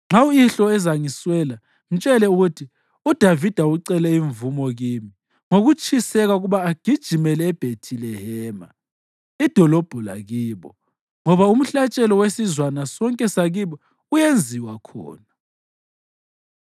Nxa uyihlo ezangiswela, mtshele uthi, ‘UDavida ucele imvumo kimi ngokutshiseka ukuba ake agijimele eBhethilehema, idolobho lakibo, ngoba umhlatshelo wesizwana sonke sakibo uyenziwa khona.’